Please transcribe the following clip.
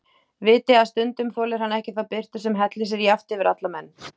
Viti að stundum þolir hann ekki þá birtu sem hellir sér jafnt yfir alla menn.